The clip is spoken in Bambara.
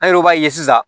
An yɛrɛw b'a ye sisan